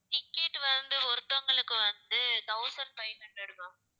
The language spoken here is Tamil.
ticket வந்து ஒருத்தவங்களுக்கு வந்து, thousand five hundred ma'am